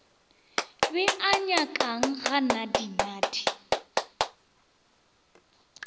be a nyakang ga nadinadi